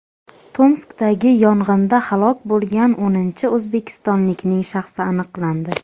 Tomskdagi yong‘inda halok bo‘lgan o‘ninchi o‘zbekistonlikning shaxsi aniqlandi.